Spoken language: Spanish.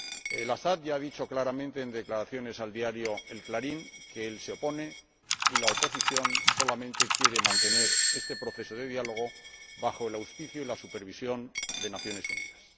El Asad ya ha dicho claramente, en declaraciones al diario El Clarín que él se opone, y la oposición solamente quiere mantener este proceso de diálogo bajo el auspicio y la supervisión de las Naciones Unidas.